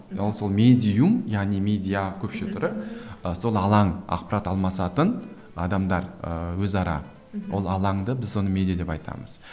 ол сол медиум яғни медиа көпше түрі ы сол алаң ақпарат алмасатын адамдар ыыы өзара мхм ол алаңды біз оны медиа деп айтамыз